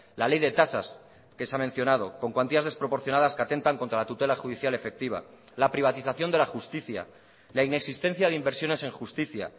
la ley de tasas que se ha mencionado con cuantías desproporcionadas que atentan contra la tutela judicial efectiva la privatización de la justicia la inexistencia de inversiones en justicia